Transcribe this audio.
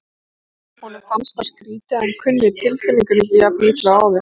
Honum fannst það skrýtið að hann kunni tilfinningunni ekki jafn illa og áður.